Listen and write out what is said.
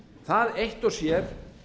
það eitt og sér